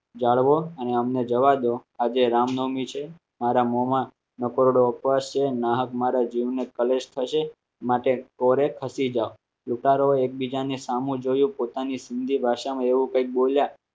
જાળવો અને અમને જવા દો આજે રામનવમી છે મારા મોમાં નકોરડો ઉપવાસ છે નાક મારા જીવને કલેશ થશે માટે ખસી જાવ જો ઉતારો એકબીજાને સામું જોયું પોતાની હિન્દી ભાષામાં એવું કંઈક બોલ્યા.